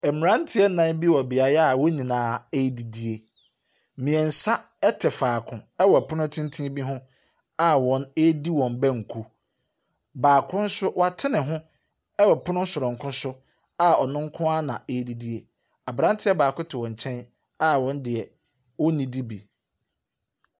Mmeranteɛ nnan bi wɔ beaeɛ a wɔn nyinaa redidi. Mmeɛnsa te faako wɔ pono tenten bi ho a wɔredi wɔn banku. Baako nso, wate ne ho wɔ pono soronko so a ɔno nko ara na ɔre didi. Aberanteɛ baako te wɔn nkyɛn a ɔno deɛ ɔnnidi bi.